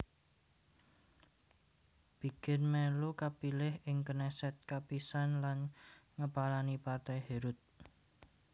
Begin mèlu kapilih ing Knesset kapisan lan ngepalani Partai Herut